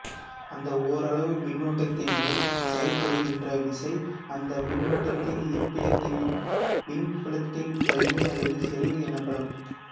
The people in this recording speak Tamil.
அந்த ஓரலகு மின்னூட்டத்தின் மேல் செயல்படுகின்ற விசை அந்த மின்னூட்டத்தின் இருப்பிடத்தில் மின் புலத்தின் வலிமை அல்லது செறிவு எனப்படும்